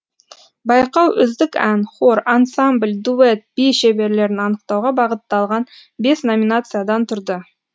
байқау үздік ән хор ансамбль дуэт би шеберлерін анықтауға бағытталған бес номинациядан тұрды